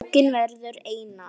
Bókin verður einar